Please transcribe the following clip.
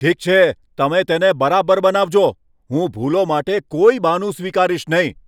ઠીક છે, તમે તેને બરાબર બનાવજો. હું ભૂલો માટે કોઈ બહાનું સ્વીકારીશ નહીં.